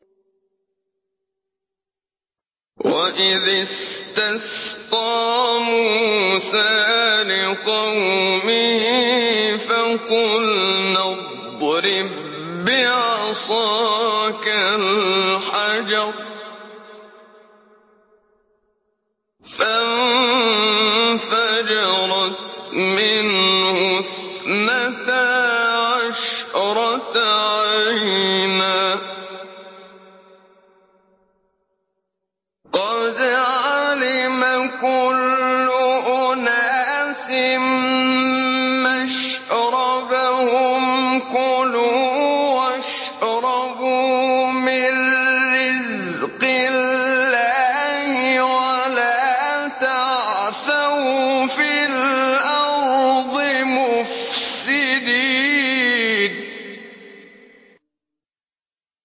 ۞ وَإِذِ اسْتَسْقَىٰ مُوسَىٰ لِقَوْمِهِ فَقُلْنَا اضْرِب بِّعَصَاكَ الْحَجَرَ ۖ فَانفَجَرَتْ مِنْهُ اثْنَتَا عَشْرَةَ عَيْنًا ۖ قَدْ عَلِمَ كُلُّ أُنَاسٍ مَّشْرَبَهُمْ ۖ كُلُوا وَاشْرَبُوا مِن رِّزْقِ اللَّهِ وَلَا تَعْثَوْا فِي الْأَرْضِ مُفْسِدِينَ